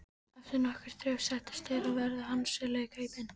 Eftir nokkurt þref sættust þeir á verð og handsöluðu kaupin.